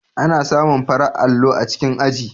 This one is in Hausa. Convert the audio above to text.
Ana samun farar allo a cikin aji.